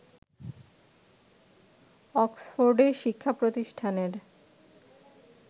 অক্সফোর্ডে শিক্ষাপ্রতিষ্ঠানের